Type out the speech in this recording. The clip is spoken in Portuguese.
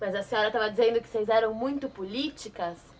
Mas a senhora estava dizendo que vocês eram muito políticas.